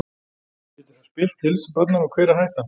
Getur það spillt heilsu barnanna og hver er hættan?